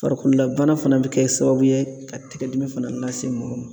Farikoolabana fana bi kɛ sababu ye ka tigɛ dimi fana lase mɔgɔ ma.